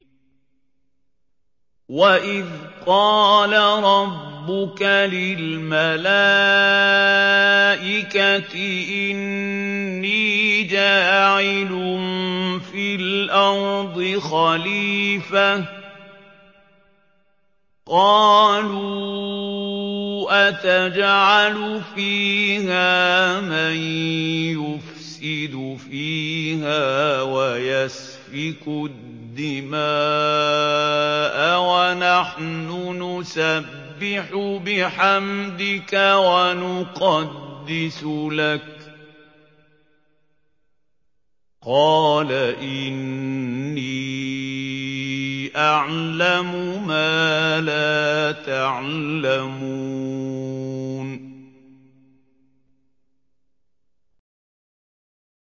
وَإِذْ قَالَ رَبُّكَ لِلْمَلَائِكَةِ إِنِّي جَاعِلٌ فِي الْأَرْضِ خَلِيفَةً ۖ قَالُوا أَتَجْعَلُ فِيهَا مَن يُفْسِدُ فِيهَا وَيَسْفِكُ الدِّمَاءَ وَنَحْنُ نُسَبِّحُ بِحَمْدِكَ وَنُقَدِّسُ لَكَ ۖ قَالَ إِنِّي أَعْلَمُ مَا لَا تَعْلَمُونَ